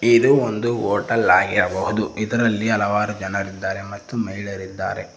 ಇದು ಒಂದು ಹೋಟೆಲ್ ಆಗಿರಬಹುದು ಇದರಲ್ಲಿ ಹಲವಾರು ಜನರ್ ಇದ್ದರೆ ಮತ್ತು ಮಹಿಳೆಯರು ಇದ್ದಾರೆ.